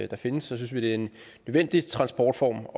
der findes så synes vi det er en nødvendig transportform og